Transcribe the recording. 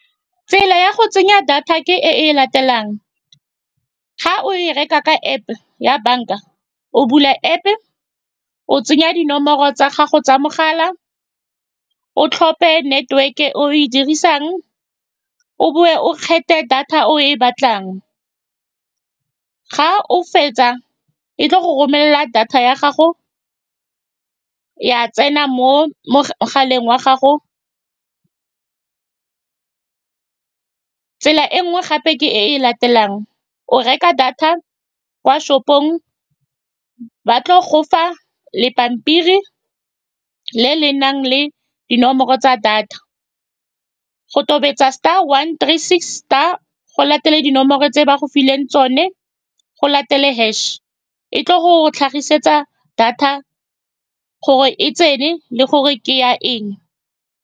Tsela ya go tsenya data ke e e latelang, ga o e reka ka App-e ya banka, o bula App-pe, o tsenya dinomoro tsa gago tsa mogala, o tlhophe network-e e o e dirisang, o bowe o kgethe data o e batlang. Ga o fetsa, e tla go romelela data ya gago ya tsena mo mogaleng wa gago. Tsela e nngwe gape ke e e latelang, o reka data kwa shop-ong, ba tla go fa le pampiri le le nang le dinomoro tsa data, go tobetsa star one three six star, go latele dinomoro tse ba go fileng tsone, go latele hash-e. E tla go tlhagisetsa data gore e tsene le gore ke ya eng.